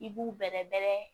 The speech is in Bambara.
I b'u bɛrɛbɛrɛ